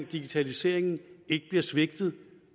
digitaliseringen ikke bliver svigtet